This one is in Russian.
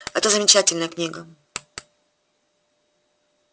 это замечательная книга